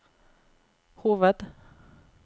hoved